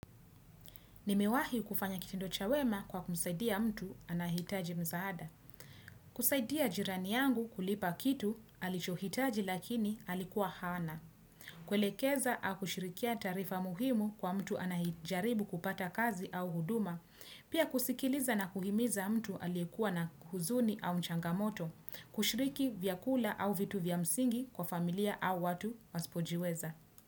Nimewahi kufanya kitendo cha wema kwa kumsaidia mtu anahitaji msaada. Kusaidia jirani yangu kulipa kitu, alicho hitaji lakini alikuwa hana. Kwelekeza akushirikia taarifa muhimu kwa mtu anayejaribu kupata kazi au huduma. Pia kusikiliza na kuhimiza mtu aliyekuwa na huzuni au mchangamoto. Kushiriki vyakula au vitu vyamsingi kwa familia au watu waispojiweza.